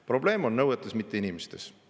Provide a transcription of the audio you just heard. Probleem on nõuetes, mitte inimestes.